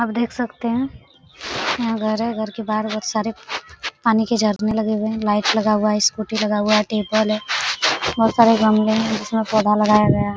आप देख सकते है यहाँ घर है घर के बाहर बोहत सारे पानी के झरने लगे हुए है लाइट लगा हुआ है स्कूटी लगा हुआ है टेबल है बहुत सारे गमले है जिसमे पौधा लगाया गया है।